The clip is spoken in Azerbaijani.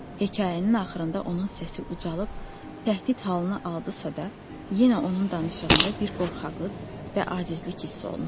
Hekayənin axırında onun səsi ucalıb təhdid halına aldısa da, yenə onun danışığında bir qorxaqlıq və acizlik hiss olunurdu.